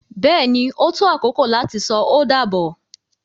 Bẹ́ẹ̀ni, o tó akoko lati sọ o dábọ